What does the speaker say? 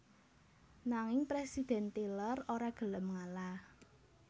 Nanging Presiden Tyler ora gelem ngalah